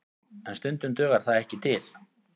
En stundum dugar það ekki til